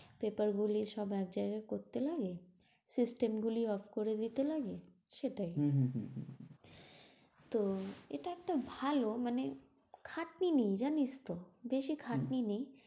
Paper গুলি সব এক জায়গায় করতে হবে system গুলি off করে দিতে হবে, সেটাই। তো এটা একটা ভালো মানে খাটনি নেই জানিস তো, বেশি খাটনি নেই।